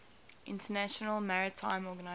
international maritime organization